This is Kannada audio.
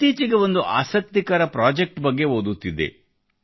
ಇತ್ತೀಚೆಗೆ ಒಂದು ಆಸಕ್ತಿಕರ ಪ್ರಾಜೆಕ್ಟ್ ಬಗ್ಗೆ ಓದುತ್ತಿದ್ದೆ